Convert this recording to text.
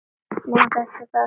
Má þetta þá ekki bíða?